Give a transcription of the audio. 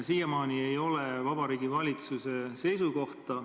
Siiamaani ei ole aga Vabariigi Valitsuse seisukohta.